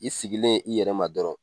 I sigilen i yɛrɛ ma dɔrɔn.